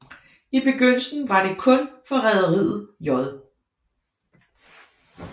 I begyndelsen var det kun for rederiet J